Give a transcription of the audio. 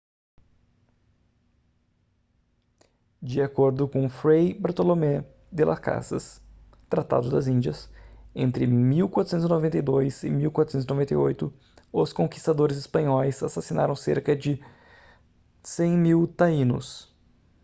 de acordo com fray bartolomé de las casas tratado das índias entre 1492 e 1498 os conquistadores espanhóis assassinaram cerca de 100.000 taínos